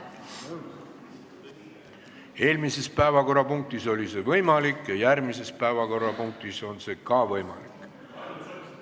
Eelmise päevakorrapunkti ajal oli see võimalik ja järgmise päevakorrapunkti ajal on see ka võimalik.